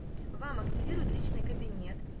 вам активируют личный кабинет